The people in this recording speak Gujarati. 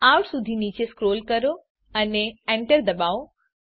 આઉટ સુધી નીચે સ્ક્રોલ કરો અને Enter દબાવો